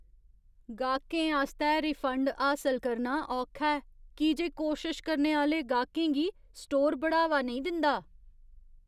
गाह्कें आस्तै रिफंड हासल करना औखा ऐ की जे कोशश करने आह्‌ले गाह्कें गी स्टोर बढ़ावा नेईं दिंदा।